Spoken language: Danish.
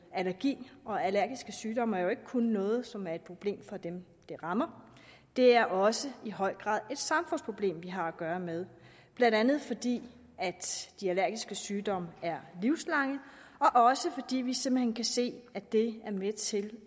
allergi og allergiske sygdomme jo ikke kun er noget som er et problem for dem det rammer det er også i høj grad et samfundsproblem vi har at gøre med blandt andet fordi de allergiske sygdomme er livslange og også fordi vi simpelt hen kan se at det er med til